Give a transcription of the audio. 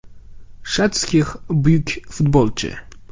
“Shatskix buyuk futbolchi.